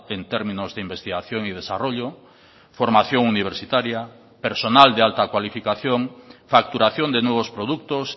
en términos de investigación y desarrollo formación universitaria personal de alta cualificación facturación de nuevos productos